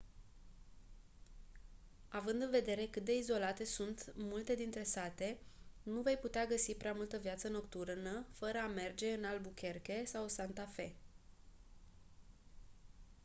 având în vedere cât de izolate sunt multe dintre sate nu vei putea găsi prea multă viață nocturnă fără a merge în albuquerque sau santa fe